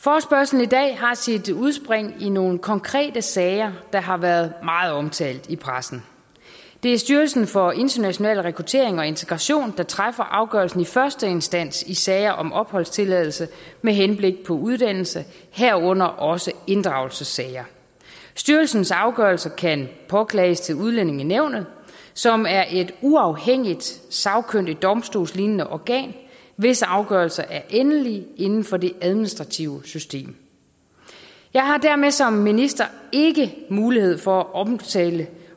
forespørgslen i dag har sit udspring i nogle konkrete sager der har været meget omtalt i pressen det er styrelsen for international rekruttering og integration der træffer afgørelsen i første instans i sager om opholdstilladelse med henblik på uddannelse herunder også inddragelsessager styrelsens afgørelse kan påklages til udlændingenævnet som er et uafhængigt sagkyndigt domstolslignende organ hvis afgørelser er endelige inden for det administrative system jeg har dermed som minister ikke mulighed for at omtale